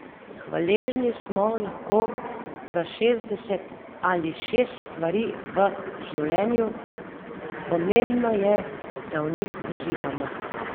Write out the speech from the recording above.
Hvaležni smo lahko za šestdeset ali šest stvari v življenju, pomembno je, da v njih uživamo.